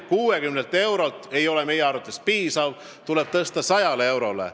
60 eurot ei ole meie arvates piisav, see toetus tuleb tõsta 100 euroni.